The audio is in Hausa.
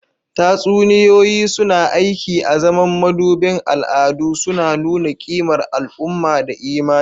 Tatsuniyoyi suna aiki azaman madubin al'adu, suna nuna kimar al'umma da imani.